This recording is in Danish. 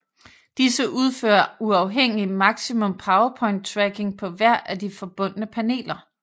Disse udfører uafhængig maximum power point tracking på hver af de forbundne paneler